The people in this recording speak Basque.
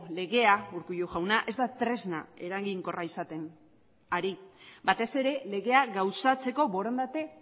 legea urkullu jauna ez da tresna eraginkorra izaten ari batez ere legea gauzatzeko borondate